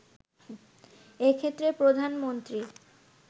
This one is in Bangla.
এক্ষেত্রে প্রধানমন্ত্রী